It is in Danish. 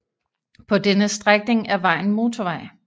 På denne strækning er vejen motorvej